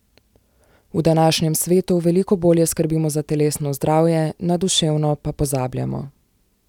V današnjem svetu veliko bolje skrbimo za telesno zdravje, na duševno pa pozabljamo.